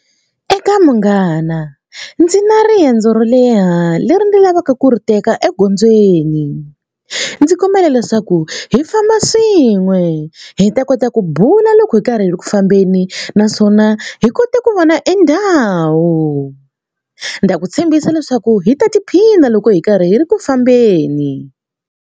Eka munghana ndzi na riendzo ro leha leri ndi lavaka ku ri teka egondzweni. Ndzi kombela leswaku hi famba swin'we hi ta kota hi ku bula loko hi karhi hi ri ku fambeni naswona hi kota ku vona e ndhawu. Ndza ku tshembisa leswaku hi ta tiphina loko hi karhi hi ri ku fambeni.